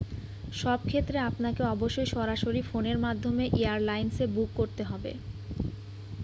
সব ক্ষেত্রে আপনাকে অবশ্যই সরাসরি ফোনের মাধ্যমে এয়ারলাইন্সে বুক করতে হবে